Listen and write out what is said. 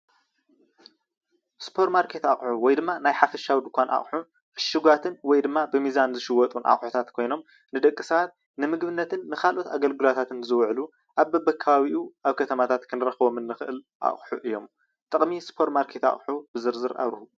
ሱፐማርኬት አቁሑ ወይ ድማ ናይ ሓፈሻዊ ደንካን አቁሑ እሽጋቱን ወይ ድማ ብምዛን ዝሽየጡ አቁሕታት ኮይኖም ንደቂ ስባት ንምግብነትን ንካልኦት አገልግላትን ዝውዕል አብ በቢ ከባቢኡ አብ ከተማታትነ ክንረክቦ ንክእል አቁሑ እዬም። ጥቅሚ ሱፐማርኬት አቁሑ ብዝርዝር አብርሁ?